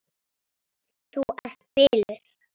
Þú ert biluð!